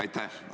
Aitäh!